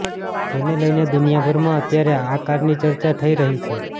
જેને લઈને દુનિયાભરમાં અત્યારે આ કારની ચર્ચા થઈ રહી છે